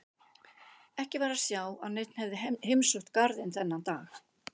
Ekki var að sjá að neinn hefði heimsótt garðinn þennan dag.